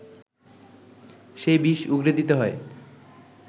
সে বিষ উগরে দিতে হয়